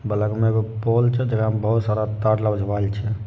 बगल म एगो पोल छे। जगह म बहुत सर तार लवझवाल छे।